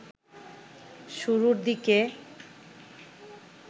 শুরুর দিকে